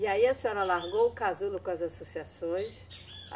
E aí a senhora largou o casulo com as associações?